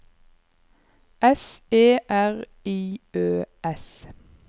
S E R I Ø S